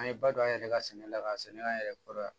An ye ba don an yɛrɛ ka sɛnɛ la ka sɛnɛ an yɛrɛ kɔrɔ yan